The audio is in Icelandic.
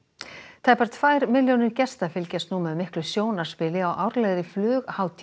tæpar tvær milljónir gesta fylgjast nú með miklu sjónarspili á árlegri